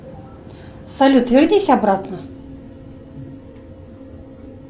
салют вернись обратно